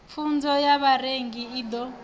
pfunzo ya vharengi i ḓo